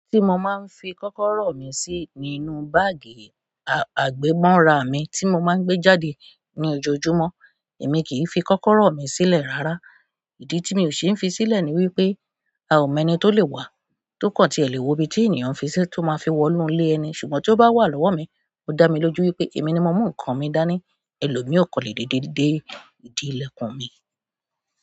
Tí mo máa ń fi kọ́kọ́rọ́ mi sí ínú báàgì àgbemọ́ra mi tí mo máa ń gbé jáde ní ojoojúmọ́, èmi kì í fi kọ́kọ́rọ́ mi sílẹ̀ rárá. Ìdí tí mi ò ṣe ń fi sílẹ̀ ni wípé a ò mọ ẹni tó lè wà tókán ti ẹ̀ léwo ibi tí ènìyàn fi sí tó máa fi wọ inú ilé ẹni. Ṣùgbọ́n tí ó bá wà lọ́wọ́ mi ó dá mi lójú wípé èmi ni mo mú ǹkan mi dání, ẹlòmíì ó kọ̀ le dédé dé ìdí ìlẹ̀kùn mi.